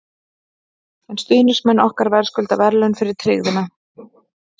En stuðningsmenn okkar verðskulda verðlaun fyrir tryggðina.